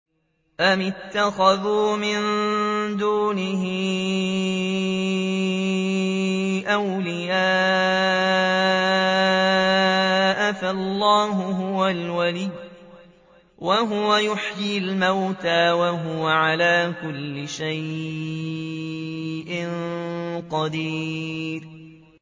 أَمِ اتَّخَذُوا مِن دُونِهِ أَوْلِيَاءَ ۖ فَاللَّهُ هُوَ الْوَلِيُّ وَهُوَ يُحْيِي الْمَوْتَىٰ وَهُوَ عَلَىٰ كُلِّ شَيْءٍ قَدِيرٌ